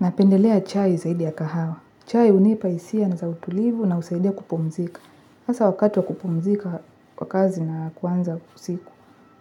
Napendelea chai zaidi ya kahawa. Chai hunipa hisia na za utulivu na husaidia kupumzika. Hasa wakati wa kupumzika wa kazi na kwanza usiku.